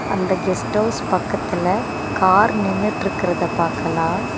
அந்த guest house பக்கத்துல car நின்னுட்ருக்கிறத பாக்கலா.